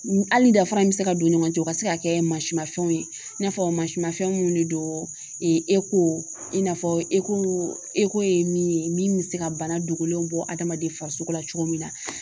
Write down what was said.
Hali danfara bɛ se ka don ɲɔgɔn cɛ o ka se ka kɛ masimanfɛnw ye i n'a fɔ mafɛnw de don i n'a fɔ e ko eko ye min ye min bɛ se ka bana dogolenw bɔ adamaden farisogo la cogo min na